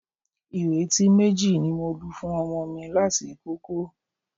Ihò etí méjì ni mo lu fún ọmọ mi láti ìkókó